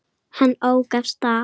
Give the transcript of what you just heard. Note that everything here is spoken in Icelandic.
Hann ók af stað.